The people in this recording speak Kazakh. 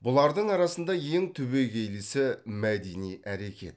бұлардың арасында ең түбегейлісі мәдени әрекет